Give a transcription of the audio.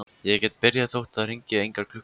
Ég get byrjað þótt það hringi engar klukkur.